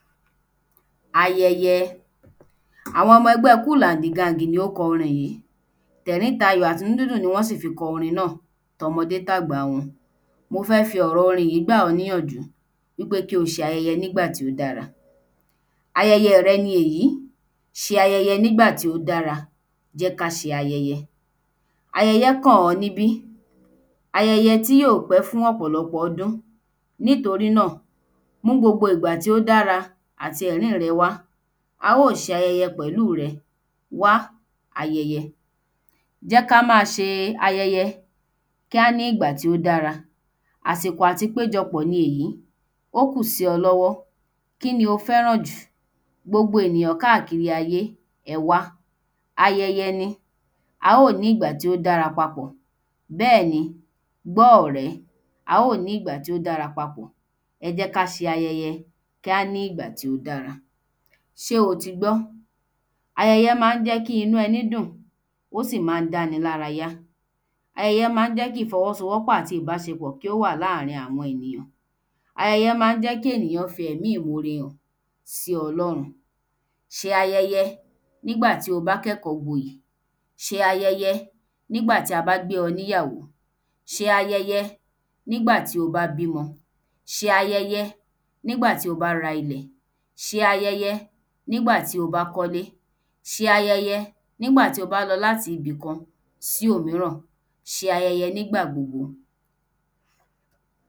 Ayẹyẹ Àwon ọmọ ẹgbẹ́ ‘Cool and The Gang’ ni ó kọ orin yí tẹ̀rín tayọ́ àti inú dúndùn ni wọ́n fi kọ orin náà tọmọdé tàgbà wọn mo fẹ́ fi ọ̀rọ orin yí gbà ọ́ níyànjú wí pé kí o ṣayẹyẹ nígbà tí ó dára ayẹyẹ rẹ ni èní ṣe ayẹyẹ nígbà tí ó dára jẹ́ ká ṣe ayẹyẹ ayẹyẹ kàn ọ́ níbí ayẹyẹ tí ò gbẹ fún ọ̀pọ̀lọpọ̀ ọdún nítorí náà mú gbogbo ìgbà tí ó dára àti ẹ̀rín rẹ wá a ó ṣe ayẹyẹ pẹ̀lú rẹ wá ayẹyẹ jẹ́ ká má a ṣe ayẹyẹ kí á ní ìgbà tí ó dára àsìkò àti péjọ pọ̀ ni èyí ó kù sí o lọ́wọ́ kí ni o fẹ́ràn jù gbogbo ènìyàn káàkiri ayé ẹ wá ayẹyẹ ni a ó ní ìgbà tí ó dára papọ̀ bẹ́ẹ̀ ni gbọ́ ọ̀rẹ́ a ó ní ìgbà tí ó dára papọ̀ ẹ jẹ́ kí á ṣe ayẹyẹ kí á ní ìgbà tí ó dára ṣé o ti gbọ́ ayẹyẹ má ń jẹ́ kí inú ẹni dùn ó sì má ń dáni lára yá ayẹyẹ má ń jẹ́ kí ìfọwọ́sowọ́pọ̀ àti ìbáṣepọ̀ kí ó wà láàrín àwọn ènìyàn ayẹyẹ má ń jẹ́ kí ènìyàn fi ẹ̀mí ìmore hàn sí Ọlọ́run ṣe ayẹyẹ nígbà tí o bá kẹ́kọ́gboyè ṣe ayẹyẹ nígbà tí a bá gbe ọ níyàwó ṣe ayẹyẹ nígbà tí o bá bímọ ṣe ayẹyẹ nígbà tí o bá ra ilẹ̀ ṣe ayẹyẹ nígbà tí o bá kọ́lé ṣe ayẹyẹ nígbà tí o bá lọ láti ibì kan sí òmíràn ṣe ayẹyẹ nígbà gbogbo